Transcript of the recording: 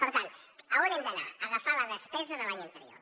per tant a on hem d’anar a agafar la despesa de l’any anterior